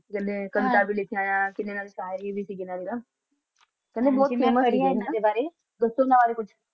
ਜਿੰਨੀ ਕਵਿਤਾ ਵੇ ਲਿਖਿਆ ਹੈਂ ਕਿੰਨੇ ਵਿਚਾਰ ਐਨ ਉੰਨਾ ਵਿਚ